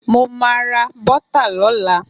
Mo ma ra bọ́tà lọ́la.